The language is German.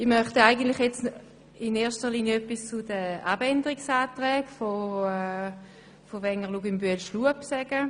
Ich möchte in erster Linie etwas zu den Abänderungsanträgen von Wenger, Luginbühl und Schlup sagen.